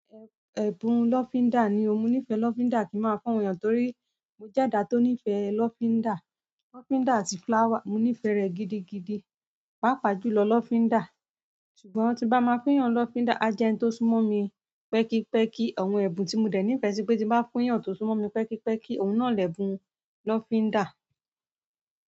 Ẹ̀bùn lọ́fíńdà ni ò. Mo nífẹ̀ẹ́ lọ́fíńdà kí n máa fún àwọn èèyàn torí mo jẹ́ ẹ̀dá tó nífẹ̀ẹ́ lọ́fíńdà. Lọ́fíńdà àti flower, mo nífẹ̀ẹ́ rẹ̀ gidigidi. Pàápàá jù lọ lọ́fíńdà. Ṣùgbọ́n tí n bá ma fún yàn ń lọ́fíńdà, ájẹ́ ẹni tó súnmọ́ mi pẹ́kípẹ́kí, àwọn ẹ̀bùn tí mo dẹ̀ nífẹ̀ẹ́ sí pé tí n bá fún yàn tó súnmọ́ mi pẹ́kípẹ́kí, òun náà lẹ̀bùn lọ́fíńdà.